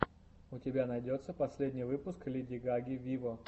у тебя найдется последний выпуск леди гаги виво